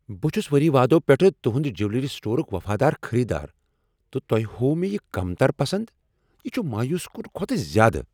بہٕ چھس ؤری وادو پیٹھٕ تہنٛد جویلری سٹورک وفادار خریدار، تہٕ تۄہِہ ہاووہ مےٚ یم کمتر پسند؟ یہ چھ مایوس کن کھوتہٕ زیادٕ۔